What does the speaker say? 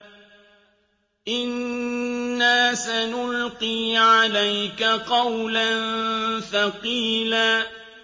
إِنَّا سَنُلْقِي عَلَيْكَ قَوْلًا ثَقِيلًا